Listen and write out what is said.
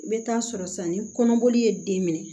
I bɛ taa sɔrɔ sisan ni kɔnɔboli ye den minɛ